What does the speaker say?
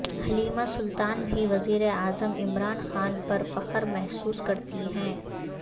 Halima Sultan بھی وزیراعظم عمران خان پر فخر محسوس کرتی ہیں